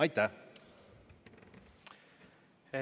Aitäh!